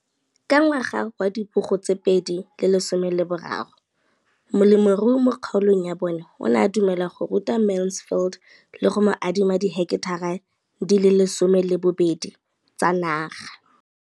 Ka ngwaga wa 2013, molemirui mo kgaolong ya bona o ne a dumela go ruta Mansfield le go mo adima di heketara di le 12 tsa naga.